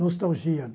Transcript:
Nostalgia.